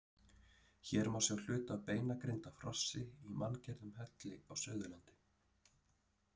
Hér má sjá hluta af beinagrind af hrossi í manngerðum helli á Suðurlandi.